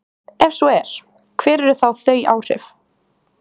Ef svo er, hver eru þá þau áhrif?